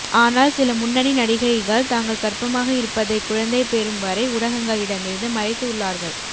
ஆனால் சில முன்னணி நடிகைகள் தாங்கள் கர்ப்பமாக இருப்பதை குழந்தை பெறும் வரை ஊடகங்களிடமிருந்து மறைத்து உள்ளார்கள்